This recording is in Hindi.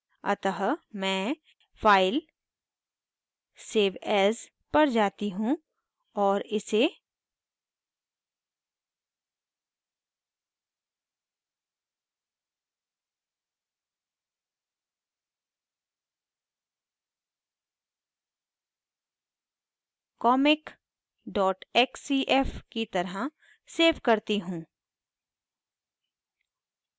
अतः मैं file save as पर जाती हूँ और इसे comicxcf की तरह सेव करती हूँ